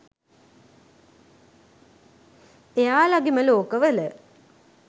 එයාලගෙම ලෝක වල.